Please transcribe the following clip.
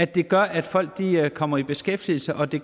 det gør at folk kommer i beskæftigelse og at det